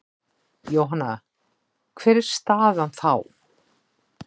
Jóhanna: Hver er staðan þá?